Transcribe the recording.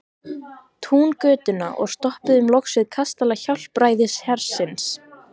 Túngötuna og stoppuðum loks við kastala Hjálpræðishersins.